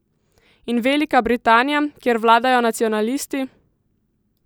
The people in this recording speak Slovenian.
In Velika Britanija, kjer vladajo nacionalisti?